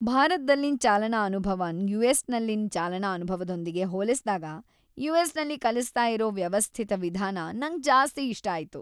ಭಾರತದಲ್ಲಿನ್ ಚಾಲನಾ ಅನುಭವನ್ ಯುಎಸ್ನಲ್ಲಿನ್ ಚಾಲನಾ ಅನುಭವದೊಂದಿಗೆ ಹೋಲ್ಸಿದಾಗ, ಯುಎಸ್ನಲ್ಲಿ ಕಲಿಸ್ತಾ ಇರೋ ವ್ಯವಸ್ಥಿತ ವಿಧಾನ ನಂಗ್ ಜಾಸ್ತಿ ಇಷ್ಟ ಆಯ್ತು.